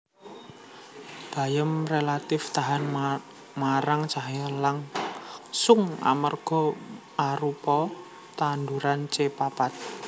Bayem rélatif tahan marang cahya langsung amarga arupa tanduran C papat